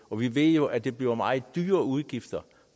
og vi ved jo at det bliver meget dyre udgifter